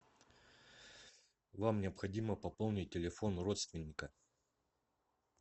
вам необходимо пополнить телефон родственника